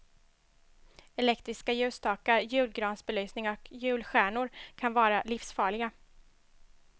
Elektriska ljusstakar, julgransbelysningar och julstjärnor kan vara livsfarliga.